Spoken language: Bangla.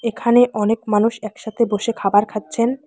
এখানে অনেক মানুষ একসাথে বসে খাবার খাচ্ছেন।